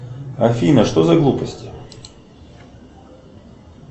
афина что за глупости